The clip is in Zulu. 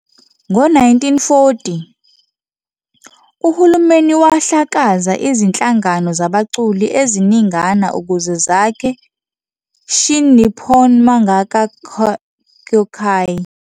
Ngo-1940, uhulumeni wahlakaza izinhlangano zabaculi eziningana ukuze zakhe Shin Nippon Mangaka Kyōkai.